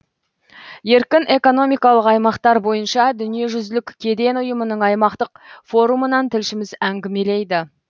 еркін экономикалық аймақтар бойынша дүниежүзілік кеден ұйымының аймақтық форумынан тілшіміз әңгілемейді